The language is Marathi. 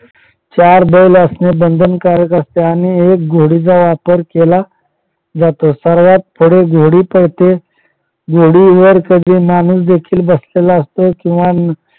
चार बैल असणे बंधनकारक असते आणि एक घोडीचा वापर केला जातो सर्वात पुढे घोडी पळते घोडीवर कधी माणूस देखील बसलेला असतो किंवा